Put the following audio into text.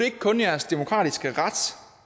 ikke kun jeres demokratiske ret